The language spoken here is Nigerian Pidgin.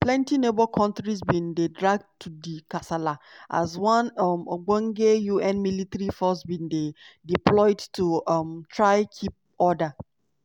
plenti neighbour kontris bin dey dragged to di kasala as one um ogbonge un military force bin dey deployed to um try keep order.